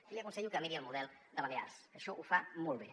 i li aconsello que miri el model de balears que això ho fa molt bé